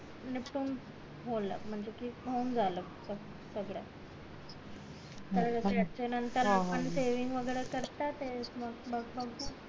निपटून होल म्हणजे कि होऊन झालं सगळं त्याच्या नंतर आपण सेविंग वैगेरे करता येत मग मग बगु